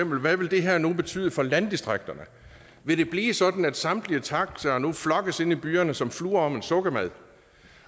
hvad vil det her nu betyde for landdistrikterne vil det blive sådan at samtlige taxaer nu flokkes inde i byerne som fluer om en sukkermad